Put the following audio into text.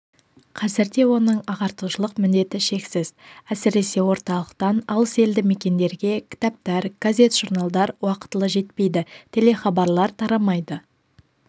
қазір де оның ағартушылық міндеті шексіз әсіресе орталықтан алыс елді мекендерге кітаптар газет-журналдар уақтылы жетпейді телехабарлар тарамайды